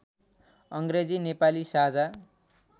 अङ्ग्रेजी नेपाली साझा